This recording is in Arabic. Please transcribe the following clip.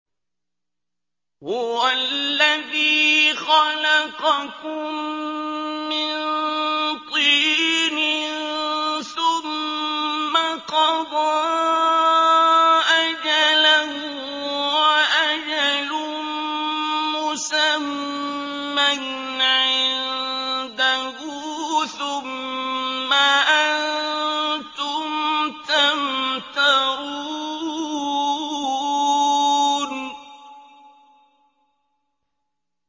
هُوَ الَّذِي خَلَقَكُم مِّن طِينٍ ثُمَّ قَضَىٰ أَجَلًا ۖ وَأَجَلٌ مُّسَمًّى عِندَهُ ۖ ثُمَّ أَنتُمْ تَمْتَرُونَ